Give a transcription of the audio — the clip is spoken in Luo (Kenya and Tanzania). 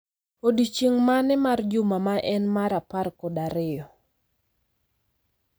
Odiechieng' mane mar juma ma en mar apar kod ariyo